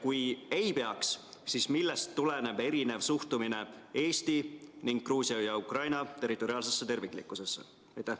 Kui ei peaks, siis millest tuleneb erinev suhtumine Eesti ning Gruusia ja Ukraina territoriaalsesse terviklikkusesse?